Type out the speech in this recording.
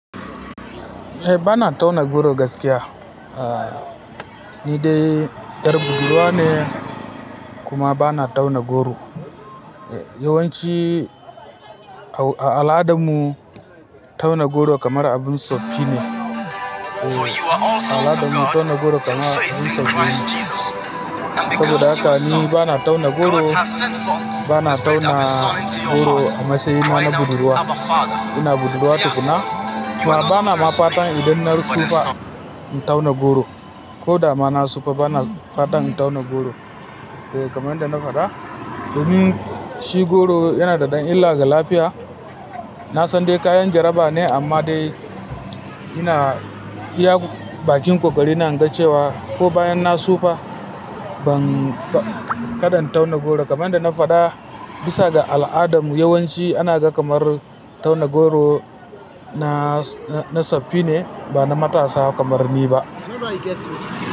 Eh, bana tauna goro gaskiya. Ni dai, yar budurwa ne, kuma, bana tauna goro. Yawanci, a al'adarmu, tauna goro kamar abin siffi ne. A al'adan tauna goro kamar abin siffi ne. Saboda haka ni bana tauna goro, bana tauna goro a matsayina na budurwa, ina budurwa tukuna. Bana ma fatan idan na sufa in tauna goro. Ko da mana sufa bana fatan in tauna goro. Kamanda na faɗa, domin shi goro yana da ɗan illa ga lafiya. Na san dai kayan jaraba ne amma dai ina iya bakin ƙoƙari na ingacewa. Ko bayan na sufa ban kaɗan tauna goro. Kamanda na faɗa, bisa ga al'adarmu yawanci ana ga kamar tauna goro na siffi ne ba na matasa kamar ni ba.